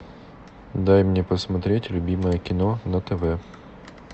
дай мне посмотреть любимое кино на тв